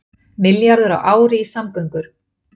Milljarður á ári í samgöngur